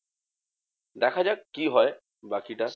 দেখাযাক কি হয় বাকিটা?